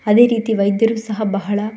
ಅದೇ ರೀತಿ ವೈದ್ಯರು ಸಹ ಬಹಳ --